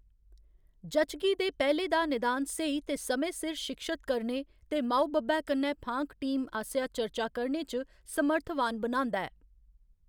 जच्चगी दे पैह्‌ले दा निदान स्हेई ते समें सिर शिक्षत करने ते माऊ बब्बै कन्नै फांक टीम आसेआ चर्चा करने च समर्थवान बनांदा ऐ।